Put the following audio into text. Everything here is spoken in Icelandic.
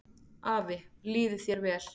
Afi, líði þér vel.